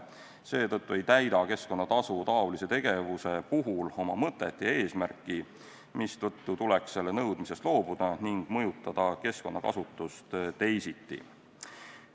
Seetõttu ei täida keskkonnatasu taolise tegevuse puhul oma mõtet ja eesmärki, mistõttu tuleks selle nõudmisest loobuda ning mõjutada keskkonnakasutust teisiti.